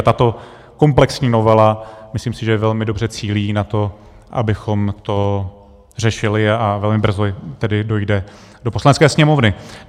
A tato komplexní novela myslím si, že velmi dobře cílí na to, abychom to řešili, a velmi brzy tedy dojde do Poslanecké sněmovny.